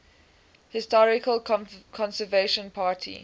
historical conservative party